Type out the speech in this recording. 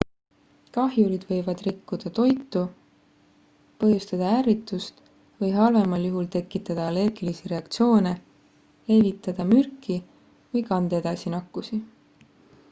kahjurid võivad rikkuda toitu põhjustada ärritust või halvemal juhul tekitada allergilisi reaktsioone levitada mürki või kanda edasi nakkusi